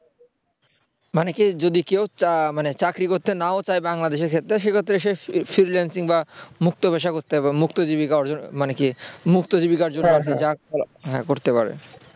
মানে কি যদি কেউ চায় মানে চাকরি করতে নাও চায় বাংলাদেশের সেক্ষেত্রে সে freelancing বা মুক্ত পেশা করতে পারে মুক্ত জীবিকা অর্জন মানে কি মুক্ত জীবিকা অর্জন করবে করতে পারে